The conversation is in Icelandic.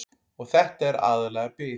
Og þetta er aðallega bið.